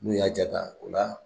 N'u y'a jaa ta o la